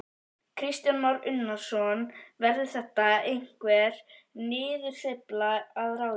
Kristján Már Unnarsson: Verður þetta einhver niðursveifla að ráði?